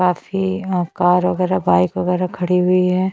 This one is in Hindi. काफी यहाँ कार वैगेरा बाइक वैगेरा खड़ी हुई है।